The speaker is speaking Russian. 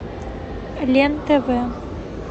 лен тв